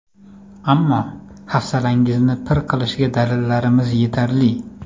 Ammo hafsalangizni pir qilishga dalillarimiz yetarli.